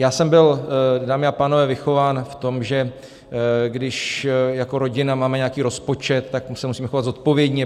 Já jsem byl, dámy a pánové, vychován v tom, že když jako rodina máme nějaký rozpočet, tak se musíme chovat zodpovědně.